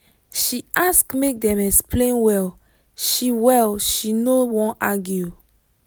she ask make dem explain well she well she no wan argue